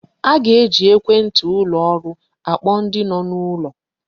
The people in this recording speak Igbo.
A ga-eji ekwenti ụlọ ọrụ akpọ ndi no n'ulo.